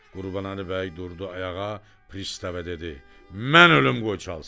Qurbanəli bəy durdu ayağa, pristava dedi: "Mən ölüm qoy çalsınlar!"